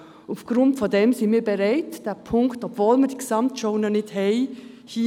Aufgrund dessen sind wir bereit, diesen Punkt – obwohl die Gesamtschau bisher fehlt – zu unterstützen.